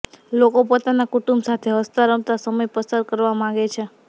લોકો પોતાના કુટુંબ સાથે હસતા રમતા સમય પસાર કરવા માંગે છે